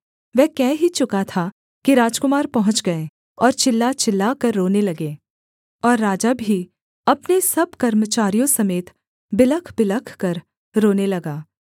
वह कह ही चुका था कि राजकुमार पहुँच गए और चिल्ला चिल्लाकर रोने लगे और राजा भी अपने सब कर्मचारियों समेत बिलखबिलख कर रोने लगा